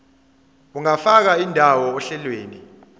ungafaka indawo ohlelweni